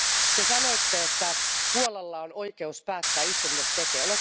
Te sanoitte, että Puolalla on oikeus päättää itse, mitä se tekee.